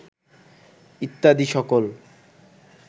ইত্যাদি সকল